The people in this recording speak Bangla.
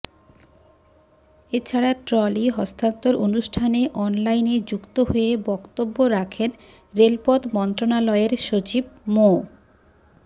এছাড়া ট্রলি হস্তান্তর অনুষ্ঠানে অনলাইনে যুক্ত হয়ে বক্তব্য রাখেন রেলপথ মন্ত্রণালয়ের সচিব মো